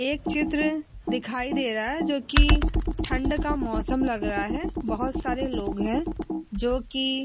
एक चित्र दिखाई दे रहा है जोकि ठंड का मौसम लग रहा है। बोहोत सारे लोग हैं जोकि --